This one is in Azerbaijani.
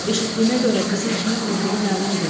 Eşitdiyimə görə qızın kimin vurduğu məlum deyil.